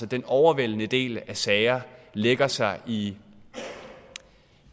den overvejende del af sager lægger sig i